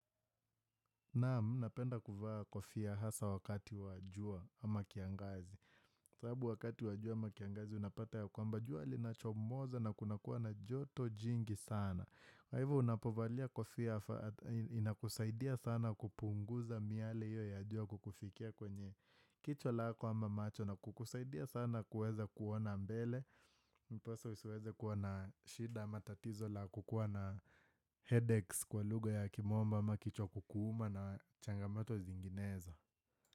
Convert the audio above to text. Naam napenda kuvaa kofia hasa wakati wa jua ama kiangazi. Sababu wakati wa jua ama kiangazi unapata ya kwamba. Jua linachomoza na kunakuwa na joto jingi sana. Kwa hivo unapovalia kofia inakusaidia sana kupunguza miale hiyo ya jua kukufikia kwenye jicho lako ama macho na kukusaidia sana kuweza kuona mbele. Mposo isiweze kuwa na shida matatizo la kukuwa na headaches kwa lugha ya kimombo ama kichwa kukuuma na changamoto zinginezo.